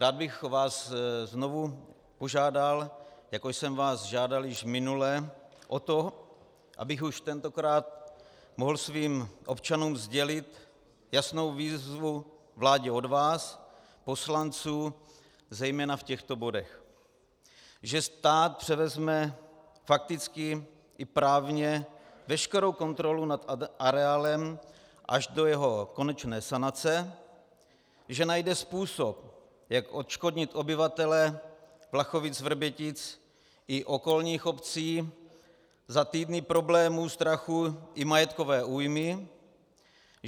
Rád bych vás znovu požádal, jako jsem vás žádal již minule, o to, abych už tentokrát mohl svým občanům sdělit jasnou výzvu vládě od vás, poslanců, zejména v těchto bodech: že stát převezme fakticky i právně veškerou kontrolu nad areálem až do jeho konečné sanace; že najde způsob, jak odškodnit obyvatele Vlachovic-Vrbětic i okolních obcí za týdny problémů, strachu i majetkové újmy;